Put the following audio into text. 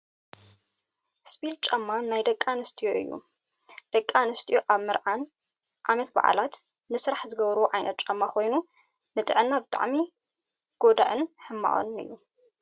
ስፒል ጫማ ናይ ደቂ ኣንስትዮ እዮ። ደቂ ኣንስትዮ ኣብ መርዓን ዓመት ባዓላት፣ ንስራሕ ዝገብርኦ ዓይነት ጫማ ኮይኑ፣ ንጥዕና ብጣዕሚ ጎዳኢን ሕማቅን እዩ።